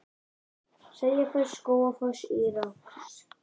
Seljalandsfoss, Skógafoss og Írárfoss.